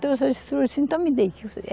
assim, então me dê.